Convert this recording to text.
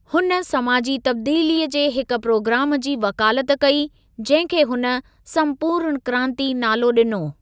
हुन समाजी तब्दीलीअ जे हिक प्रोग्राम जी वकालत कई, जहिं खे हुन "संपूर्ण क्रांति" नालो ॾिनो।